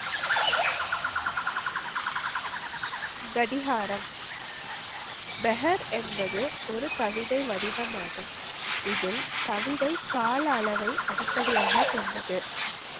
கடிகாரம். என்பது ஒரு கவிதை வடிவம் ஆகும். இதில் கவிதை கால அளவை அடிப்படியாக கொண்டது.